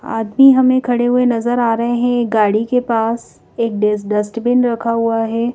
आदमी हमें खड़े हुए नजर आ रहे हैं ये गाड़ी के पास एक डस डस्टबिन रखा हुआ है।